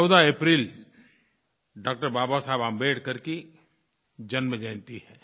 14 अप्रैल डॉ बाबा साहेब अम्बेडकर की जन्मजयंती है